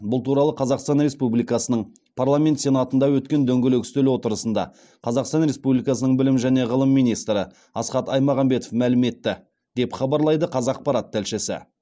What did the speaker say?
бұл туралы қазақстан республикасының парламент сенатында өткен дөңгелек үстел отырысында қазақстан республикасының білім және ғылым министрі асхат аймағамбетов мәлім етті деп хабарлайды қазақпарат тілшісі